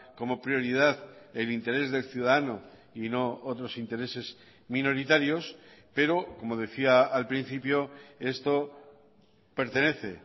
como prioridad el interés del ciudadano y no otros intereses minoritarios pero como decía al principio esto pertenece